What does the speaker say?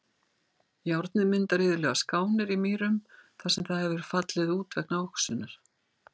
Járnið myndar iðulega skánir í mýrum þar sem það hefur fallið út vegna oxunar.